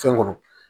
Fɛn kɔnɔ